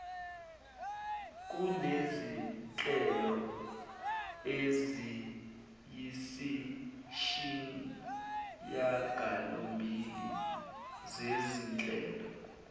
kunezinhlelo eziyisishiyagalombili zezinhlelo